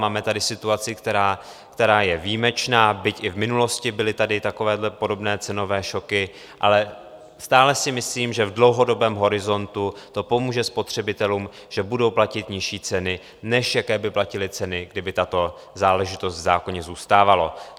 Máme tady situaci, která je výjimečná, byť i v minulosti byly tady takovéto podobné cenové šoky, ale stále si myslím, že v dlouhodobém horizontu to pomůže spotřebitelům, že budou platit nižší ceny, než jaké by platili ceny, kdyby tato záležitost v zákoně zůstávala.